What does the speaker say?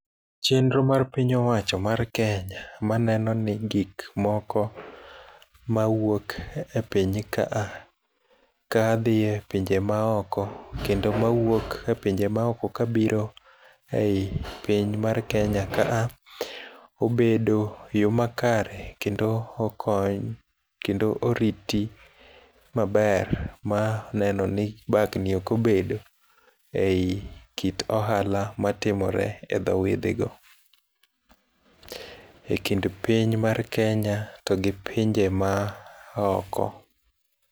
Chenro mar piny owach mar Kenya maneno ni gik moko mawuok epiny ka a kadhie epinje maoko kendo mawuok epinje maoko kabiro ei piny mar Kenya ka a, obedo eyo makare kendo okony kendo oriti maber ma nenoni bagni ok obedo eyi kit ohala matinore edhoo wedhego. Ekind piny mar Kenya to gi pinje maoko.